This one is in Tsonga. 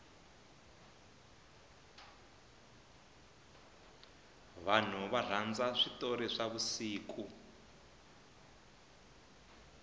vanhu varhandza switori swa vusiku